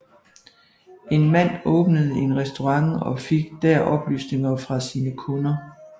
En mand åbnede en restaurant og fik der oplysninger fra sine kunder